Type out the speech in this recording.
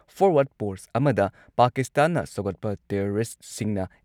forward post ꯑꯃꯗ ꯄꯥꯀꯤꯁꯇꯥꯟꯅ ꯁꯧꯒꯠꯄ ꯇꯦꯔꯣꯔꯤꯁꯠꯁꯤꯡꯅ